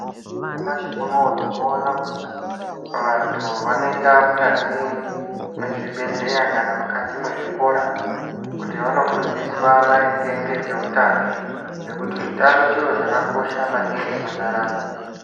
Nyamashi unowu tinoona kuti vantu vanoenda mukati mezvibhedhleya kana mukati mezvikora kuti vandofundiswa maringe ngezvehutano ngekuti utano chiro chakanaka maningi mundaramo.